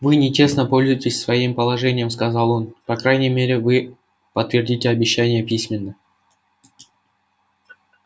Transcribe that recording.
вы нечестно пользуетесь своим положением сказал он по крайней мере вы подтвердите обещание письменно